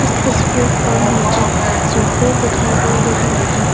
तस्वीर पर मुझे सोफे दिखाई दे रही है।